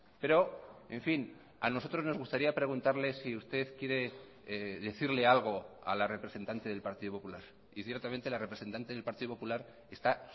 pero en fin a nosotros nos gustaría preguntarle si usted quiere decirle algo a la representante del partido popular y ciertamente la representante del partido popular está